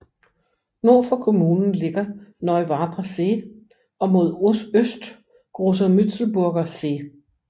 Nord for kommunen ligger Neuwarper See og mod øst Großer Mützelburger See